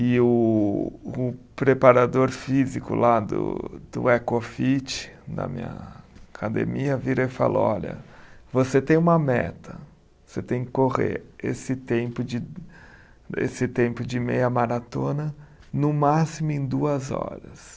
E o o preparador físico lá do do EcoFit, da minha academia, vira e fala, olha, você tem uma meta, você tem que correr esse tempo de, esse tempo de meia maratona no máximo em duas horas.